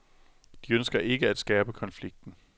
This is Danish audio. De ønsker ikke at skærpe konflikten.